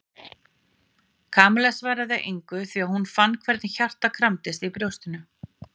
Kamilla svaraði engu því hún fann hvernig hjartað kramdist í brjóstinu.